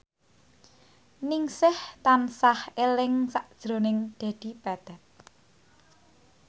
Ningsih tansah eling sakjroning Dedi Petet